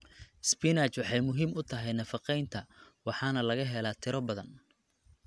Spinach waxay muhiim u tahay nafaqeynta waxaana laga helaa tiro badan.